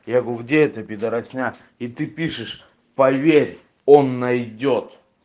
я говорю где эта пидорасня и ты пишешь поверь он найдёт